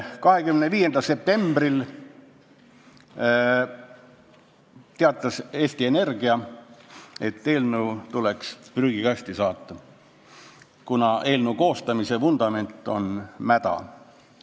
25. septembril teatas Eesti Energia, et eelnõu tuleks saata prügikasti, kuna selle koostamise vundament on mäda.